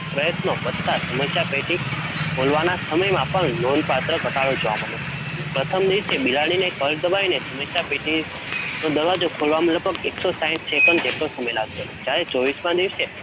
પ્રયત્નો વધતા સમસ્યા પેટી ખોલવાના સમયમાં પણ નોંધપાત્ર ઘટાડો જોવા મલ્યો. પ્રથમ દિવસે બિલાડીને કળ દબાવીને સમસ્યા પેટીનો દરવાજો ખોલવામાં લગભગ એકસો સાઈઠ second જેટલો સમય લાગ્યો હતો. જયારે ચોવીસમા દિવસે